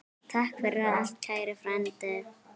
Takk fyrir allt, kæri frændi.